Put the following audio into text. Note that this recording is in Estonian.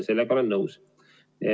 Sellega olen nõus.